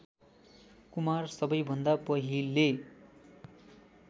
कुमार सबैभन्दा पहिले